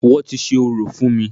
Wọ́n ti ṣe orò fún mí.